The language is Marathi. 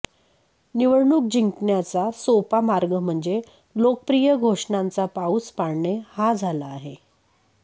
निवडणूक जिंकण्याचा सोपा मार्ग म्हणजे लोकप्रिय घोषणांचा पाऊस पाडणे हा झाला आहे